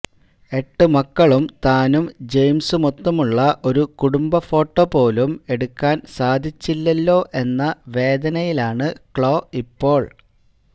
എട്ടുമക്കളും താനും ജയിംസുമൊത്തുള്ള ഒരു കുടുംബഫോട്ടോ പോലും എടുക്കാൻ സാധിച്ചില്ലല്ലോ എന്ന വേദനയിലാണ് ക്ലോ ഇപ്പോൾ